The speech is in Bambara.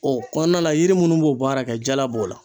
O kɔɔna na yiri munnu b'o baara kɛ jala b'o.